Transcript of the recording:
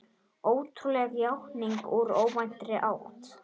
Ótrúleg játning úr óvæntri átt